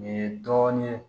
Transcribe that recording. Nin ye dɔɔnin ye